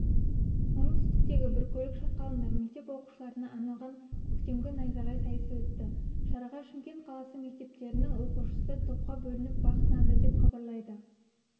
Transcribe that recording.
оңтүстіктегі біркөлік шатқалында мектеп оқушыларына арналған көктемгі найзағай сайысы өтті шараға шымкент қаласы мектептерінің оқушысы топқа бөлініп бақ сынады деп хабарлайды